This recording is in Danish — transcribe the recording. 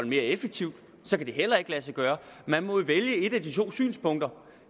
mere effektiv så kan det heller ikke lade sig gøre man må jo vælge et af de to synspunkter